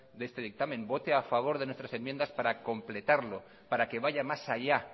de este dictamen vote a favor de nuestras enmiendas para completarlo para que vaya más allá